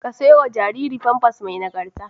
Ka sayo ma jariri famfas mai nagarta